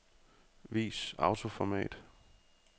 Vis autoformat.